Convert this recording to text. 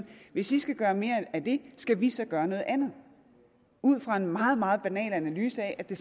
hvis i skal gøre mere af det skal vi så gøre noget andet ud fra en meget meget banal analyse af at det